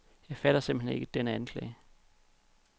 Jeg fatter simpelthen ikke denne anklage.